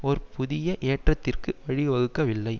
ஒரு புதிய ஏற்றத்திற்கு வழிவகுக்கவில்லை